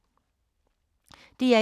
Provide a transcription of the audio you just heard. DR1